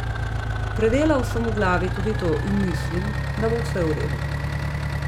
Predelal sem v glavi tudi to in mislim, da bo vse v redu.